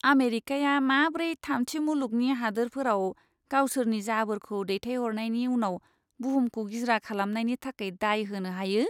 आमेरिकाया माब्रै थामथि मुलुगनि हादोरफोराव गावसोरनि जाबोरखौ दैथायहरनायनि उनाव बुहुमखौ गिज्रा खालामनायनि थाखाय दाय होनो हायो!